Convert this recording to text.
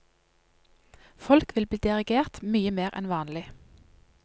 Folk vil bli dirigert mye mer enn vanlig.